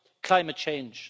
climate change.